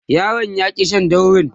yaron ya ki Shan daurin